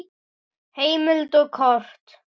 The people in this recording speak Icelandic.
Heimild og kort